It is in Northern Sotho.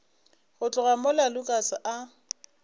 go tloga mola lukas a